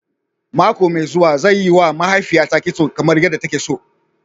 Mako mai zuwa, zan yiwa mahaifiyata kitso kamar yadda take so.